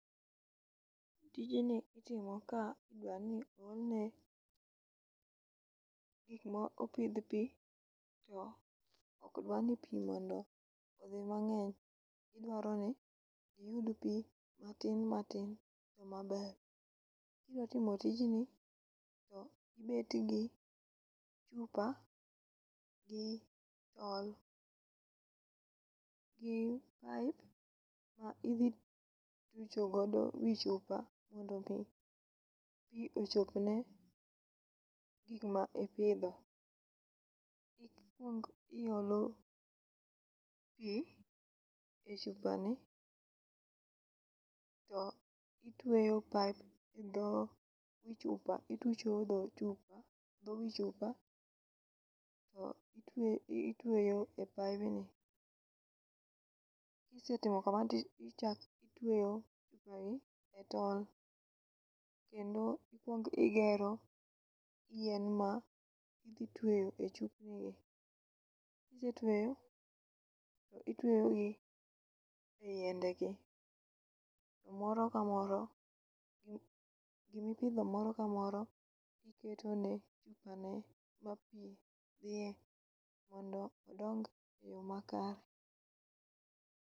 Tijni itimo ka widwa ni o olne gik ma opidh pi to okdwa ni pi mondo odhi mang'eny. Idwaro ni giyud pi matin matin e yo maber. Kidwa timo tijni to ibet gi chupa gi tol gi pipe ma idhi tucho godo wi chupa mondo mi pi ochop ne gik ma ipidho. Mokwongo iolo pi e chupa ni to itweyo pipe e dho wi chupa. Itucho dho wi chupa to itweyo e pibeni. Kisetimo kamano tichak itweyo pipe e tol. Kendo ikwong igero yien ma idhi tweyo e chupni gi. Kise tweyo itweyo gi e yiende gi moro ka moro gimipidho moro ka moro iketone chupani ma pi dhiye mondo odong e yo makare.